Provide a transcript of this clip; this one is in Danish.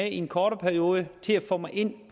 i en kortere periode at få mig ind